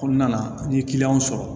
Kɔnɔna na n'i ye kiliyanw sɔrɔ